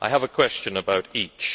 I have a question about each.